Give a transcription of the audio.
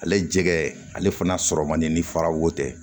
Ale jɛgɛ ale fana sɔrɔ man di ni fara wo tɛ